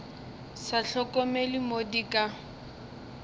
sa hlokomele mo di ka